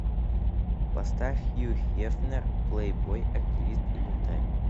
поставь хью хефнер плейбой активист и бунтарь